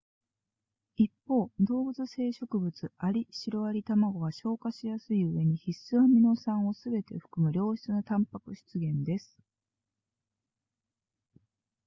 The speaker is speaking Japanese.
一方動物性食物アリシロアリ卵は消化しやすいうえに必須アミノ酸をすべて含む良質なタンパク質源です